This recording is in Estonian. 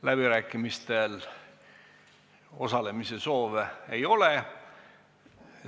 Läbirääkimistel osalemise soove ei ole.